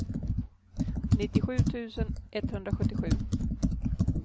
nittiosju tusen etthundrasjuttiosju